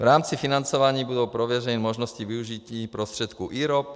V rámci financování budou prověřeny možnosti využití prostředků IROP."